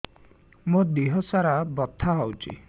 ମୋ ଦିହସାରା ବଥା ହଉଚି